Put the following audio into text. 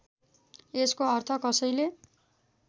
यसको अर्थ कसैले